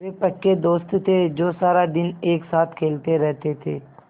वे पक्के दोस्त थे जो सारा दिन एक साथ खेलते रहते थे